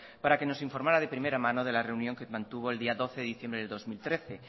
para que nos informara de primera mano de la reunión que mantuvo el día doce de diciembre de dos mil trece